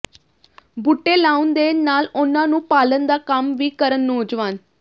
ਬੂਟੇ ਲਾਉਣ ਦੇ ਨਾਲ ਉਨ੍ਹਾਂ ਨੂੰ ਪਾਲਣ ਦਾ ਕੰਮ ਵੀ ਕਰਨ ਨੌਜਵਾਨ